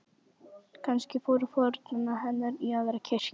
Kannski fóru foreldrar hennar í aðra kirkju.